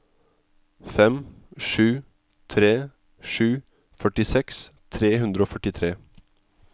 fem sju tre sju førtiseks tre hundre og førtitre